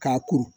K'a kuru